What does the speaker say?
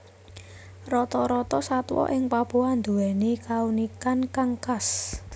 Rata rata satwa ing Papua nduwèni kaunikan kang khas